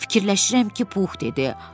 Fikirləşirəm ki, Pux dedi.